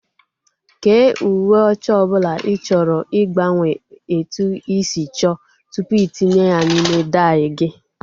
kee uwe ọcha ọbụla ị chọrọ ịgbanwe etu ị si chọọ tupu itinye ya n'ime dai gị